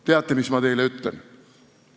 Teate, mis ma teile ütlen?